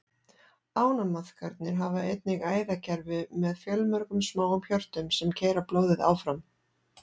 Ánamaðkarnir hafa einnig æðakerfi með fjölmörgum smáum hjörtum, sem keyra blóðið áfram.